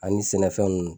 Ani sɛnɛfɛn nunnu